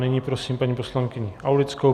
Nyní prosím paní poslankyni Aulickou.